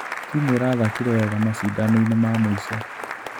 Timu ĩrathakire wega macindanoinĩ ma mũico.